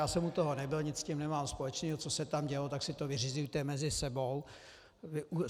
Já jsem u toho nebyl, nic s tím nemám společného, co se tam dělo, tak si to vyřizujte mezi sebou.